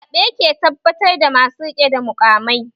Zaɓe ke tabbatar da masu rike da muƙamai